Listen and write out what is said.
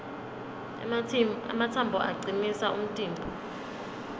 ematsambo acinisa umtimba